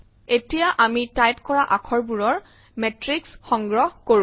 এতিয়া আমি টাইপ কৰা আখৰবোৰৰ মেট্ৰিক্স সংগ্ৰহ কৰো